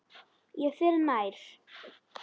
Ég fer nær.